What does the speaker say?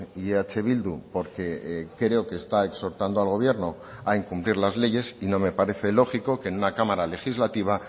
y eh bildu porque creo que está exhortando al gobierno a incumplir las leyes y no me parece lógico que en una cámara legislativa